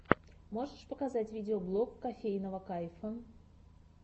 можешь показать видеоблог кофейного кайфа